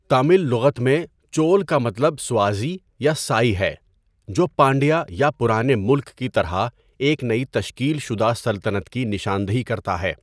تامل لغت میں، چول کا مطلب سوازی یا سائی ہے جو پانڈیا یا پرانے ملک کی طرح ایک نئی تشکیل شدہ سلطنت کی نشاندہی کرتا ہے۔